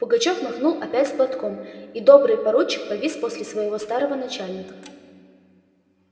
пугачёв махнул опять платком и добрый поручик повис после своего старого начальника